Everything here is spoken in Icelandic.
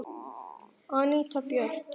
Anita Björt.